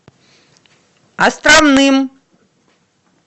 островным